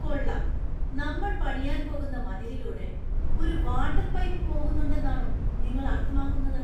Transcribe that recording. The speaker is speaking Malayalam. കൊള്ളാം, നമ്മൾ പണിയാൻ പോകുന്ന മതിലിലൂടെ ഒരു വാട്ടർ പൈപ്പ് പോകുന്നുണ്ടെന്നാണോ നിങ്ങൾ അർത്ഥമാക്കുന്നത്?